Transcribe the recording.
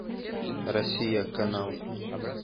россия канал